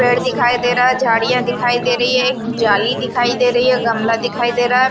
पेड़ दिखाई दे रहा है झाड़ियां दिखाई दे रही है एक जाली दिखाई दे रही है गमला दिखाई दे रहा है।